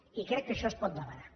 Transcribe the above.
i crec que això es pot demanar